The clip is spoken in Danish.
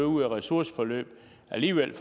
ud i ressourceforløb alligevel